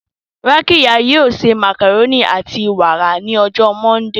Rakiya yoo se macaroni ati wara ni ọjọ Mọndee.